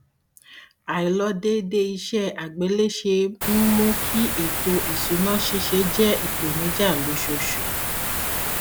àìlọdéédé iṣẹ àgbéléṣe ń mú kí ètò ìṣùná ṣíṣe jẹ ìpèníjà lóṣooṣù